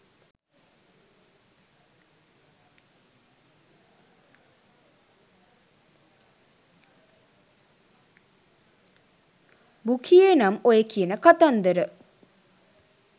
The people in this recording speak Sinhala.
බුකියේ නම් ඔය කියන කතන්දර